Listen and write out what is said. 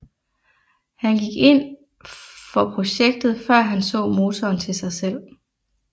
Han gik ind for projektet før han så motoren til sig selv